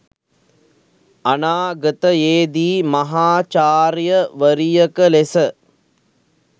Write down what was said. අනාගතයේදී මහාචාර්යවරියක ලෙස